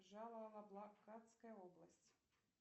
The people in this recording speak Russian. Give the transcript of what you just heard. джалал абадская область